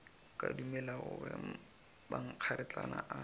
ka dumelago ge mankgeretlana a